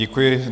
Děkuji.